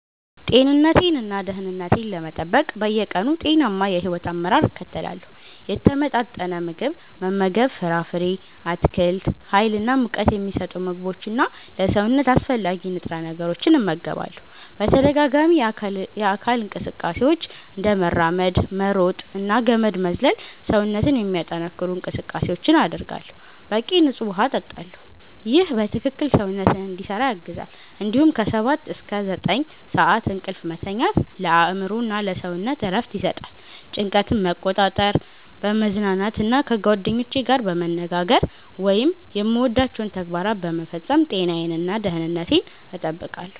ጤንነቴን እና ደህንነቴን ለመጠበቅ በየቀኑ ጤናማ የሕይወት አመራር እከተላለሁ። የተመጣጠነ ምግብ መመገብ ፍራፍሬ፣ አትክልት፣ ሀይል እና ሙቀት ሚሰጡ ምግቦች እና ለሰውነት አስፈላጊ ንጥረ ነገሮችን እመገባለሁ። በተደጋጋሚ የአካል እንቅስቃሴዎች፤ እንደ መራመድ፣ መሮጥ እና ገመድ መዝለል ሰውነትን የሚያጠነክሩ እንቅስቃሴዎችን አደርጋለሁ። በቂ ንፁህ ውሃ እጠጣለሁ ይህ በትክክል ሰውነትን እንዲሰራ ያግዛል እንዲሁም ከ 7–9 ሰዓት እንቅልፍ መተኛት ለአእምሮ እና ለሰውነት እረፍት ይሰጣል። ጭንቀትን መቆጣጠር፣ በመዝናናት እና ከጓደኞቼ ጋር በመነጋገር ወይም የምወዳቸውን ተግባራት በመፈጸም ጤናዬን እና ደህንነቴን እጠብቃለሁ።